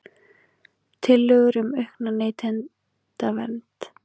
Tillögur um aukna neytendavernd